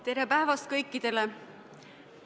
Tere päevast kõikidele!